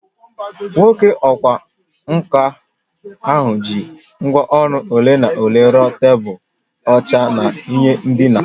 Onye ọkwá nkà ahụ ji ngwá ọrụ ole na ole rụọ tebụl, oche na ihe ndina